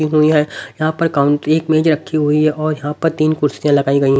हुई हैं यहां पर काउंट एक मेज रखी हुई है और यहां पर तीन कुर्सियां लगाई गई--